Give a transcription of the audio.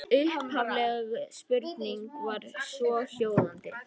Upphafleg spurning var svohljóðandi: